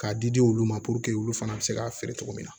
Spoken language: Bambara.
K'a di di olu ma puruke olu fana bɛ se k'a feere cogo min na